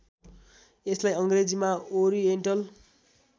यसलाई अङ्ग्रेजीमा ओरिएन्टल